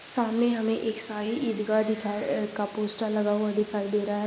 सामने हमें एक शाही ईदगाह दिखा-- अ का पोस्टर का लगा हुआ दिखाई दे रहा है।